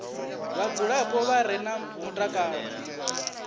vhadzulapo vha re na mutakalo